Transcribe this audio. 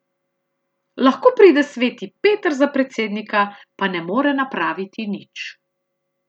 Lahko pride sveti Peter za predsednika, pa ne more napraviti nič.